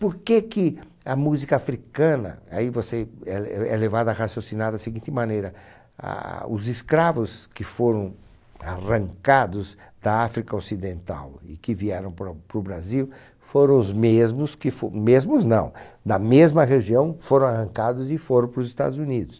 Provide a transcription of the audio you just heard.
Por que a música africana, aí você é le, é levado a raciocinar da seguinte maneira, ah, os escravos que foram arrancados da África Ocidental e que vieram para o, para o Brasil foram os mesmos que fo, mesmos não, da mesma região foram arrancados e foram para os Estados Unidos.